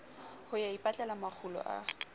ho ya ipatlela makgulo a